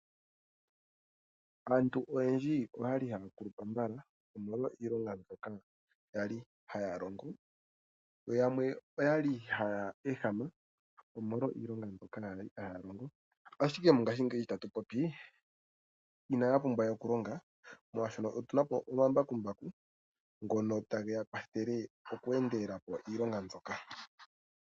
Aantu oyendji oyali haya kulupa mbala omolwa iilonga mbyoka yali haya longo. Yo yamwe oyali haya ehama omolwa iilonga mbyoka yali haya longo. Ashike mongashingeyi tatu popi, inaya pumbwa we okulonga molwashono otuna po omambakumbaku ngono tageya kwathele oku endelela po iilonga mbyoka.